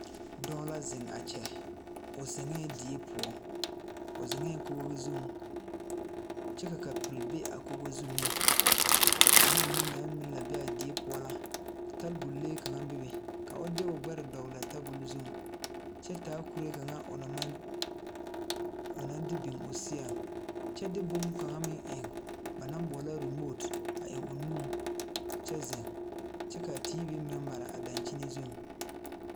Dɔɔ la zeŋ a kyɛ o zeŋɛɛ die poɔ o zeŋɛɛ kogo zuŋ kyɛ ka kapure be a kogo zu meŋ bomma mine naŋ meŋ la be a die poɔ la tabol lee kaŋa bebe ka o de o gbɛre dɔgle a tabol zuŋ kyɛ taa kuree kaŋa o naŋ maŋ de biŋ o seɛŋ kyɛ de bonkaŋa meŋ eŋ ba naŋ boɔlɔ remoote a eŋ o nuŋ kyɛ zeŋ kyɛ kaa teevi meŋ maraa a dankyini zuŋ.